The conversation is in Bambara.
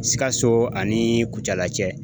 Sikaso ani kucala cɛ.